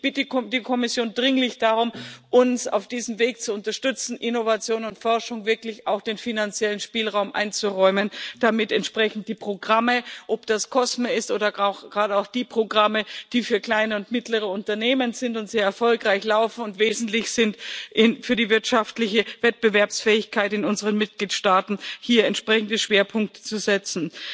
Ich bitte die Kommission dringlich darum, uns auf diesem Weg zu unterstützen, Innovation und Forschung wirklich auch den finanziellen Spielraum einzuräumen, damit entsprechend die Programme ob das COSME ist oder gerade auch die Programme, die für kleine und mittlere Unternehmen sind und sehr erfolgreich laufen und wesentlich sind für die wirtschaftliche Wettbewerbsfähigkeit in unseren Mitgliedstaaten hier entsprechende Schwerpunkte setzen.